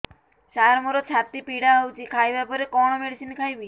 ସାର ମୋର ଛାତି ପୀଡା ହଉଚି ଖାଇବା ପରେ କଣ ମେଡିସିନ ଖାଇବି